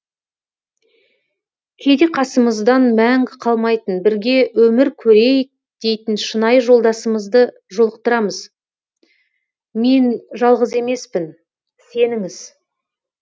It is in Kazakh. кейде қасымыздан мәңгі қалмайтын бірге өмір көрейік дейтін шынайы жолдасымызды жолықтырамыз мен жалғыз емеспін сеніңіз